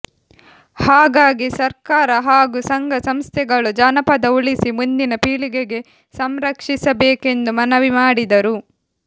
ಹಾಗಾಗಿ ಸರ್ಕಾರ ಹಾಗೂ ಸಂಘ ಸಂಸ್ಥೆಗಳು ಜಾನಪದ ಉಳಿಸಿ ಮುಂದಿನ ಪೀಳಿಗೆಗೆ ಸಂರಕ್ಷಿಸಬೇಕೆಂದು ಮನವಿ ಮಾಡಿದರು